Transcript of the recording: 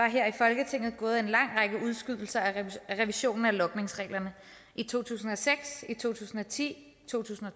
her i folketinget gået en lang række udskydelser af revisionen af logningsreglerne i to tusind og seks i to tusind og ti i to tusind og